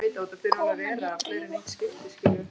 Konan hét Drífa.